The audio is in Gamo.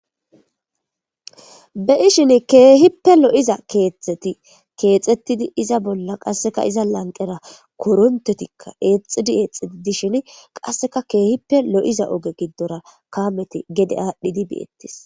Be'ishin keehippe lo'iza keetheti keexxettidi iza bolla qasseka iza lanqqera koronttotikka eexxidi eexxiti dishini qasseka keehippe lo7iza oge giddora kaameti gede aadhdhidi beettis.